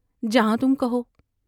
جہاں تم کہو ۔